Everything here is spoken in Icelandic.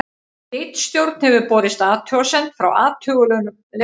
ritstjórn hefur borist athugasemd frá athugulum lesanda